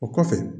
O kɔfɛ